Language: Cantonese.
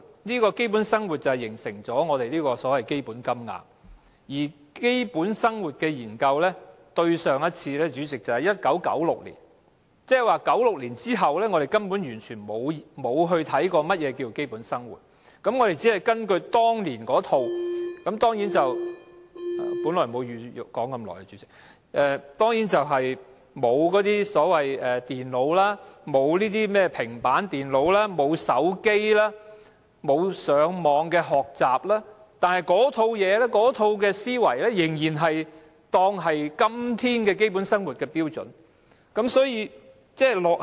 因為基本生活是基本金額的基礎，而對於基本生活的研究，對上一次是1996年，即是說1996年之後，我們根本完全沒有檢視何謂基本生活，我們只是根據當年那套標準——本來沒有打算說這麼久——那套標準當然沒有電腦或平板電腦、手機、網上學習等，但那套思維仍然當作是今天基本生活的標準，所以是極之落後。